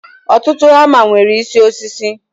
Ọtụtụ hama nwere isi osisi